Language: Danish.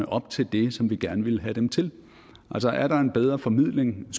op til det som vi gerne ville have dem til er der en bedre formidling